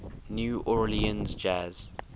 new orleans jazz